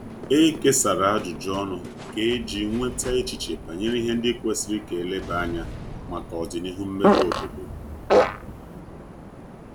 E kesara ajụjụ ọnụ kà eji nweta echiche banyere ihe ndi kwesiri ka eleba anya maka odinihu mmebe obodo